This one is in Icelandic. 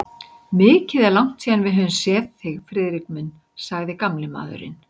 Mikið er langt síðan við höfum séð þig, Friðrik minn sagði gamli maðurinn.